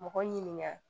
Mɔgɔ ɲininka